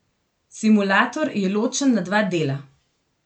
Simulator je ločen na dva dela.